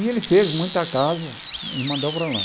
E ele fez muita casa e mandou para lá.